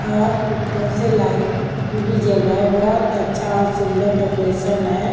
और ऊपर से लाइट भी जल रहा है बहुत अच्छा और सुंदर डेकोरेशन है।